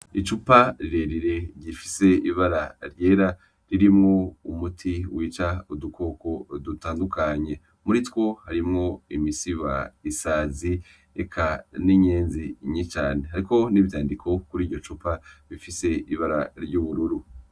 Icupa rirerire rifise ibara ryera ririmwo umuti wica udukoko dutandukanye muritwo harimwo imisiba, isazi ,eka n'inyenzi nyinshi cane hariko n'ivyandiko kuri iryo cupa bifise ibara ry'ubururu.